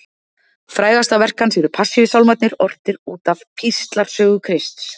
Frægasta verk hans eru Passíusálmarnir, ortir út af píslarsögu Krists.